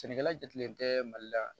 Sɛnɛkɛla jatigɛlen tɛ mali la